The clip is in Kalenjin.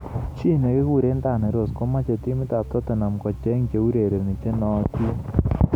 Chi nekikure Danny Rose komeche timit ab Tottenham kocheng cheurereni chenootin.